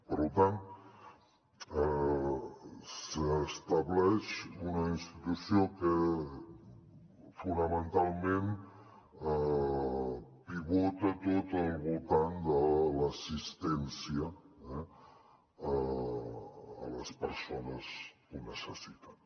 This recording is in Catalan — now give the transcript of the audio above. per tant s’estableix una institució que fonamentalment pivota tota al voltant de l’assistència a les persones que ho necessiten